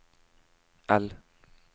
L